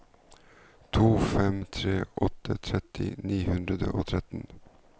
to fem tre åtte tretti ni hundre og tretten